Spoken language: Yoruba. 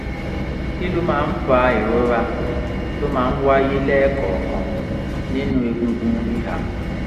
kí ló máa ń fa ìrora tó máa ń wáyé lẹ́ẹ̀kọ̀ọ̀kan nínú egungun ìhà?